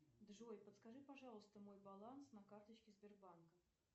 джой подскажи пожалуйста мой баланс на карточке сбербанка